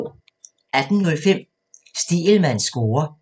18:05: Stegelmanns score